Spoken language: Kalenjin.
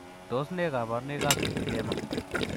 Tos nee koborunoikab lipedema?